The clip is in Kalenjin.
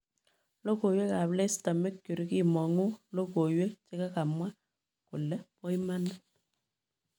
logoiwek ab Leicester Mercury; kimongu logoiwek chekakemwa kole bo imanit